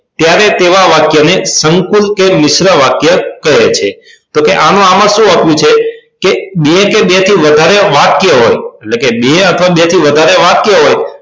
ત્યારે તેવા વાક્ય ને સંકૂલ કે મિશ્ર વાક્ય કહે છે તો આમાં આમાં સુ આપ્યું છે બે કે બેથી વધારે વાક્યો હોય એટલે કે બે કે બેઠી વધારે વાક્ય હોય